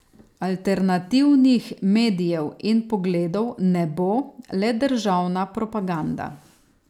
Alternativnih medijev in pogledov ne bo, le državna propaganda.